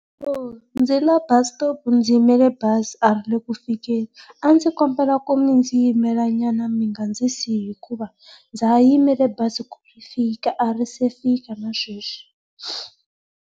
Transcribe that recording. Ndzile bus stop ndzi yimele bazi a ri le ku fikeni. A ndzi kombela ku mi ndzi yimela nyama mi nga ndzi siyi hikuva ndza ha yimele bazimku ri fika a ri se fika na sweswi.